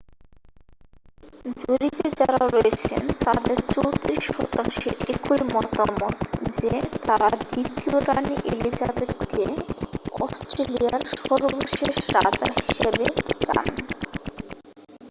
জরিপে যারা রয়েছেন তাদের 34 শতাংশের একই মতামত যে তারাঁ দ্বিতীয় রানী এলিজাবেথকে অস্ট্রেলিয়ার সর্বশেষ রাজা হিসেবে চান